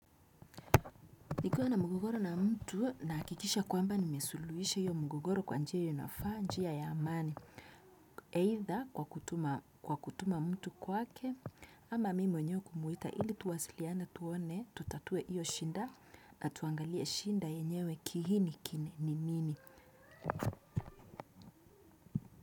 Nikuwa na mgogoro na mtu na hakikisha kwamba nimesuluhisha hiyo mgogoro kwa njia inayofaa, njia ya amani. Either kwa kutuma mtu kwake ama mimi nyewe kumuita ili tuwasiliane tuone tutatue hiyo shida na tuangalie shida yenyewe kiini kini ni nini.